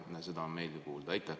Seda on meeldiv kuulda.